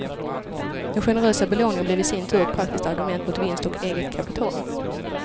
Den generösa belåningen blev i sin tur ett praktiskt argument mot vinst och eget kapital.